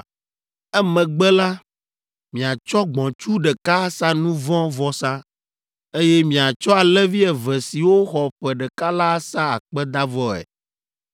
Emegbe la, miatsɔ gbɔ̃tsu ɖeka asa nu vɔ̃ vɔsa, eye miatsɔ alẽvi eve siwo xɔ ƒe ɖeka la asa akpedavɔe.